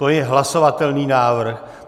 To je hlasovatelný návrh.